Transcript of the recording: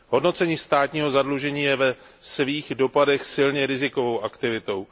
Hodnocení státního zadlužení je ve svých dopadech silně rizikovou aktivitou.